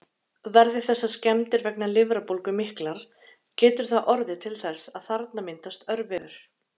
Verði þessar skemmdir vegna lifrarbólgu miklar, getur það orðið til þess að þarna myndast örvefur.